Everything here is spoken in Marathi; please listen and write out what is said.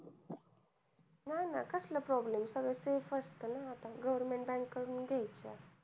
नाही ना कसला problem, सगळं safe असतं ना. आपण government bank कडून घ्यायचं.